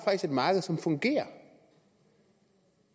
et marked som fungerer